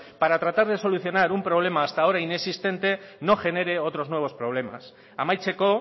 para tratar de solucionar un problema hasta ahora inexistente no genere otros nuevos problemas amaitzeko